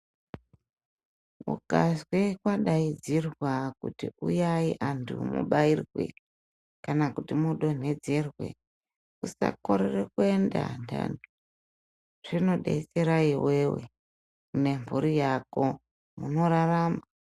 Ukazwe kwadaidzirwa kuti uyai antu mubairwe kana kuti mudontedzerwe, usakorere kuenda antani. Zvinodetsere iwewe nemburi yako, unorarama.